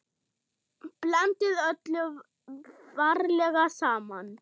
Blandið öllu varlega saman.